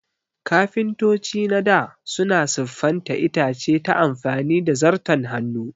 Kafintoci na dā suna siffanta itace ta amfani da Zarton Hannu